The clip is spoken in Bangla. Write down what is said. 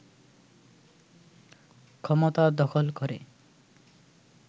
ক্ষমতা দখল করে